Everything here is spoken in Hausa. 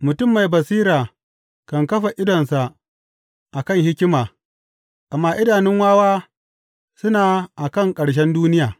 Mutum mai basira kan kafa idonsa a kan hikima, amma idanun wawa suna a kan ƙarshen duniya.